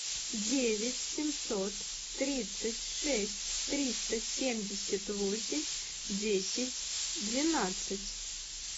девять семьсот тридцать шесть триста семьдесят восемь десять двенадцать